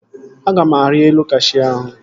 Aga m arị elu kashuu ahụ